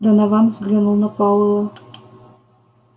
донован взглянул на пауэлла